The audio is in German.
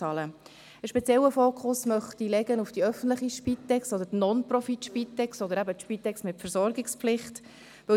Einen speziellen Fokus möchte ich auf die öffentliche Spitex, die Non-Profit-Spitex oder eben die Spitex mit Versorgungspflicht legen.